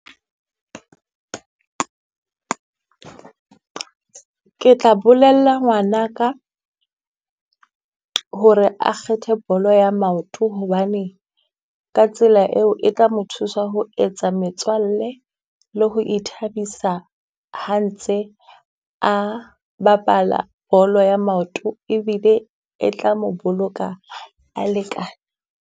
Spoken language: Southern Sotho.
Ke tla bolella ngwanaka ho re a kgethe bolo ya maoto hobane, ka tsela eo e tla mo thusa ho etsa metswalle, le ho ithabisa ha ntse a bapala bolo ya maoto ebile e tla mo boloka a le ka.